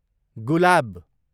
गुलाब